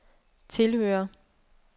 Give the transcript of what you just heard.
tilhører